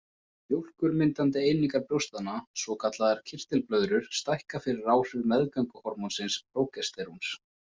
Mjólkurmyndandi einingar brjóstanna, svokallaðar kirtilblöðrur stækka fyrir áhrif meðgönguhormónsins prógesteróns.